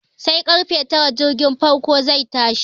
Sai karfe tara jirgin farko zai tashi.